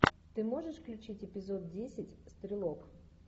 ты можешь включить эпизод десять стрелок